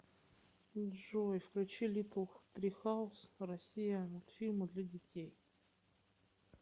джой включи литтл трихаус россия мультфильмы для детей